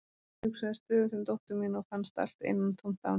Ég hugsaði stöðugt um dóttur mína og fannst allt innantómt án hennar.